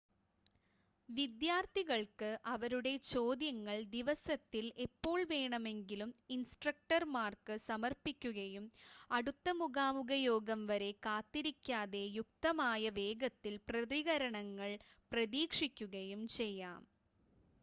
വിദ്യാർത്ഥികൾക്ക് അവരുടെ ചോദ്യങ്ങൾ ദിവസത്തിൽ എപ്പോൾ വേണമെങ്കിലും ഇൻസ്ട്രക്ടർമാർക്ക് സമർപ്പിക്കുകയും അടുത്ത മുഖാമുഖ യോഗം വരെ കാത്തിരിക്കാതെ യുക്തമായ വേഗത്തിൽ പ്രതികരണങ്ങൾ പ്രതീക്ഷിക്കുകയും ചെയ്യാം